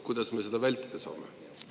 Kuidas me seda vältida saame?